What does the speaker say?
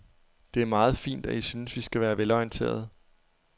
Det er meget fint, at I synes, vi skal være velorienterede.